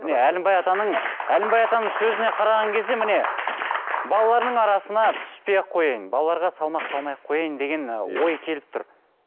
міне әлімбай атаның әлімбай атаның сөзіне қараған кезде міне балаларының арасына түспей ақ қояйын балаларға салмақ салмай ақ қояйын деген ы ой келіп тұр